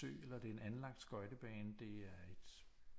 Sø eller det er en anlagt skøjtebane det er et